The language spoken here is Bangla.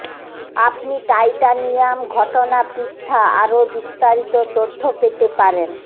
আপনি টাইটানিয়াম ঘটনা পৃষ্ঠা আরও বিস্তারিত তথ্য পেতে পারেন